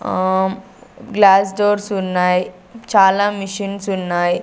ఆ glass doors ఉన్నాయి చాలా మిషిన్స్ ఉన్నాయి.